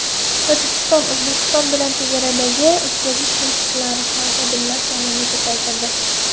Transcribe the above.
Tojikiston O‘zbekiston bilan chegaradagi o‘tkazish punktlarida xodimlar sonini ko‘paytirdi.